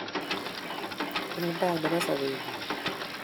eng tai nebo sobengwai